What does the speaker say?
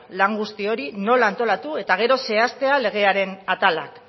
lan guzti hori nola antolatu et gero zehaztea legearen atalak